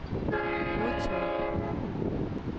modtag